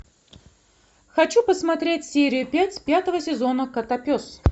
хочу посмотреть серию пять пятого сезона котопес